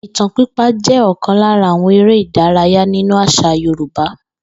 Ìtàn pípa jé̩ ò̩kan lára àwo̩n eré ìdárayá nínú às̩à Yorùbá